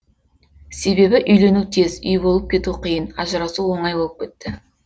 себебі үйлену тез үй болып кету қиын ажырасу оңай болып кетті